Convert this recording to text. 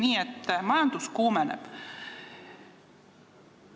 Nii et majandus kuumeneb.